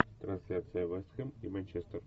трансляция вест хэм и манчестер